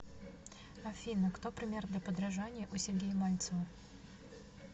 афина кто пример для подражания у сергея мальцева